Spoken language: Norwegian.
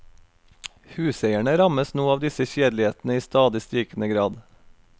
Huseierne rammes nå av disse kjedelighetene i stadig stigende grad.